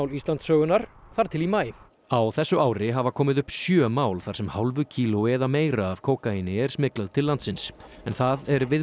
Íslandssögunnar þar til í maí á þessu ári hafa komið upp sjö mál þar sem hálfu kílói eða meira af kókaíni er smyglað til landsins en það er